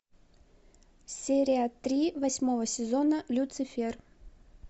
серия три восьмого сезона люцифер